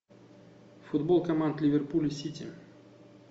футбол команд ливерпуль сити